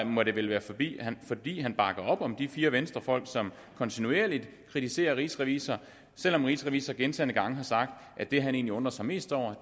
må det vel være fordi han fordi han bakker op om de fire venstrefolk som kontinuerligt kritiserer rigsrevisor selv om rigsrevisor gentagne gange har sagt at det han egentlig undrer sig mest over